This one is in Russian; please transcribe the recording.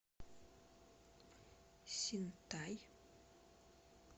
синтай